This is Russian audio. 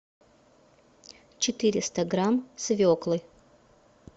четыреста грамм свеклы